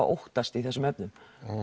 óttast í þessum efnum